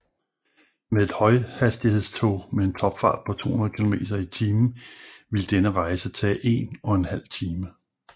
Med et højhastighedstog med en topfart på 280 kilometer i timen ville denne rejse tage en og en halv time